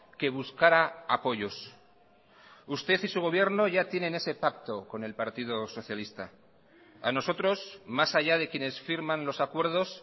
que buscara apoyos usted y su gobierno ya tienen ese pacto con el partido socialista a nosotros más allá de quienes firman los acuerdos